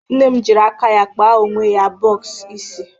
Nne m jịrị aka ya kpa onwe ya bọx isi.